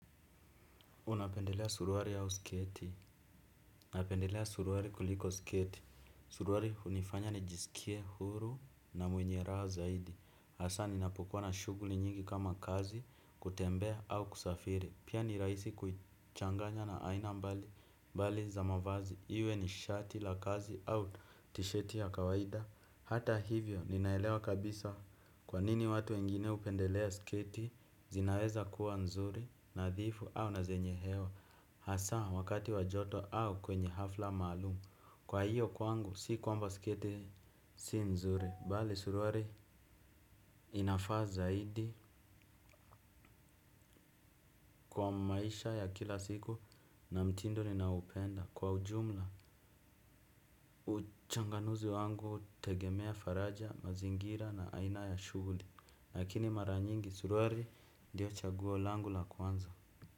Unapendelea suruali au sketi. Napendelea suruali kuliko sketi. Suruali hunifanya nijisikie huru na mwenye raha zaidi. Hasaa ninapokuwa na shuguli nyingi kama kazi kutembea au kusafiri. Pia ni rahisi kuichanganya na aina mbali za mavazi. Iwe ni shati la kazi au tisheti ya kawaida. Hata hivyo ninaelewa kabisa kwa nini watu wengine hupendelea sketi. Zinaweza kuwa nzuri, nadhifu au na zenye hewa. Hasaa wakati wa joto au kwenye hafla maalumu. Kwa hiyo kwangu si kwamba sketi si nzuri. Bali suruali inafaa zaidi kwa maisha ya kila siku na mtindo ninaoupenda. Kwa ujumla, uchanganuzi wangu tegemea faraja, mazingira na aina ya shuhuli. Lakini mara nyingi suruali ndiyo chaguo langu la kwanza.